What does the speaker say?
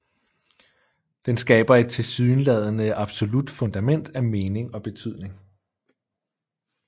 Den skaber et tilsyneladende absolut fundament af mening og betydning